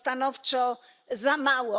To stanowczo za mało.